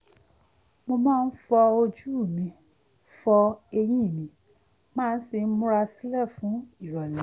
mo máa ń fọ ojú mi fọ eyín mi màá sì múra sílẹ̀ fún ìrọ̀lé